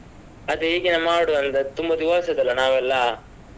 ಅದೇ ಹೀಗೇನೇ ಮಾಡುವಾ ಅಂತ ತುಂಬಾ ದಿವಸಾ ಆಯ್ತಾಲ್ವ ನಾವೆಲ್ಲ.